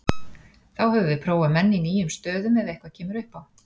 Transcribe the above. Þá höfum við prófað menn í nýjum stöðum ef eitthvað kemur upp á.